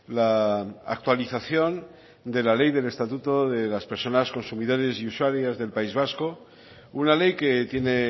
la actualización de la ley de estatuto de las personas consumidoras y usuarias del país vasco una ley que tiene